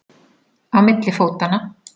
Á milli fótanna.